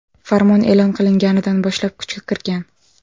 Farmon e’lon qilinganidan boshlab kuchga kirgan.